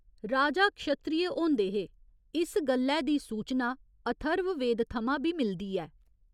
राजा क्षत्रिय होंदे हे, इस गल्लै दी सूचना अथर्ववेद थमां बी मिलदी ऐ।